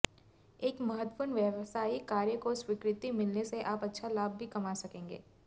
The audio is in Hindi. एक महत्त्वपूर्ण व्यवसायिक कार्य को स्वीकृति मिलने से आप अच्छा लाभ भी कमा सकेंगे